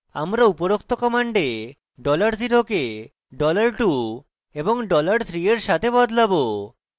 আমরা উপরোক্ত command $0 কে $2 এবং $3 we সাথে বদলাবো